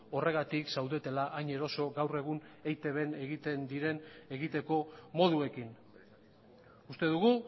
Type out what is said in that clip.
horregatik zaudetela hain eroso gaur egun eitbn egiten diren egiteko moduekin uste dugu